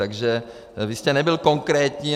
Takže vy jste nebyl konkrétní.